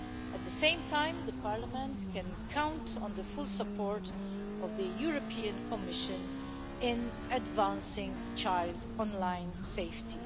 At the same time, the Parliament can count on the full support of the European Commission in advancing child online safety.